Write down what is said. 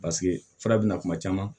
Paseke fura bina kuma caman